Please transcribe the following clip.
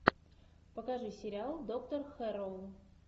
покажи сериал доктор хэрроу